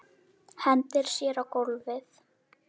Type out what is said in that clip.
Hendir sér á gólfið.